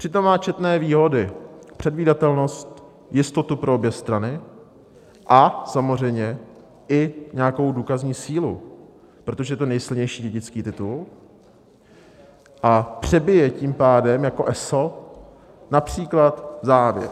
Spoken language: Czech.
Přitom má četné výhody - předvídatelnost, jistotu pro obě strany a samozřejmě i nějakou důkazní sílu, protože je to nejsilnější dědický titul a přebije tím pádem jako eso například závěť.